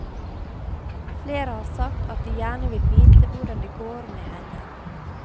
Flere har sagt at de gjerne vil vite hvordan det går med henne.